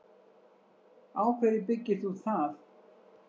Á hverju byggir þú það?